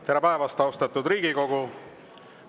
Tere päevast, austatud Riigikogu!